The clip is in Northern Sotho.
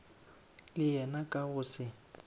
le yena ka go se